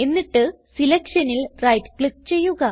എന്നിട്ട് selectionൽ right click ചെയ്യുക